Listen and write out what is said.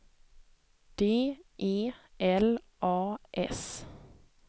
D E L A S